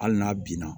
Hali n'a binna